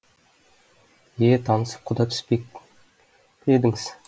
е танысып құда түспек пе едіңіз